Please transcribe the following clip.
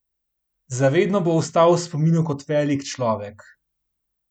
Za vedno bo ostal v spominu kot velik človek.